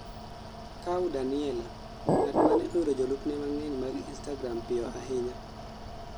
Kaw Daniella:ng'atmane oyudo jolupne mang'eny mag instagram piyo ahinya